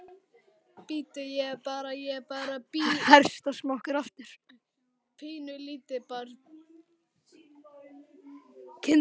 Bíddu, er ég bara, er ég bara bí, pínulítið barn?